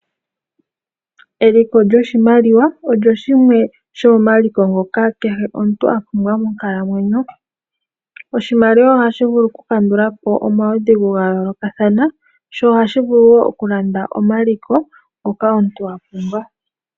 Eliko lyoshimaliwa olyo shimwe shomomaliko ngoka kehe omuntu a pumbwa monkalamweyo. Oshimaliwa ohashi vulu okukandula po omaudhigu ga yoolokathana, sho ohashi vulu wo okulanda omaliko ngoka omuntu wa pumbwa.